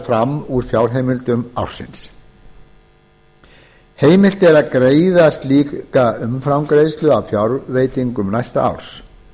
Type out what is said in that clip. fram úr fjárheimildum ársins heimilt er að greiða slíka umframgreiðslu af fjárveitingum næsta árs